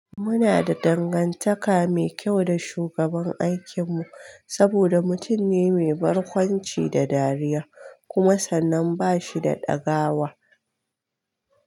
Muna da dangantaka mai kyau da shugaban aikinmu saboda mutum ne mai barkwanci da dariya kuma sannan bashi da ɗagawa.